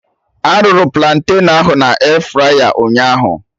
Arụrụ platen ahụ na airfryer ụnyaahụ?